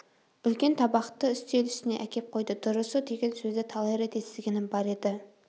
үлкен табақты үстел үстіне әкеп қойды дұрысы деген сөзді талай рет естігенім бар еді